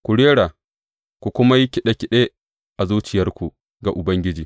Ku rera, ku kuma yi kiɗe kiɗe a zuciyarku ga Ubangiji.